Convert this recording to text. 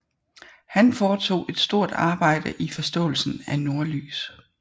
Han foretog et stort arbejde i forståelsen af nordlys